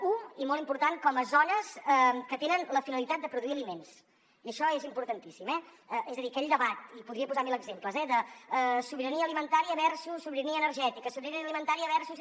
un i molt important com a zones que tenen la finalitat de produir aliments i això és importantíssim eh és a dir aquell debat i podria posar mil exemples de sobirania alimentària versus sobirania energètica sobirania alimentària versus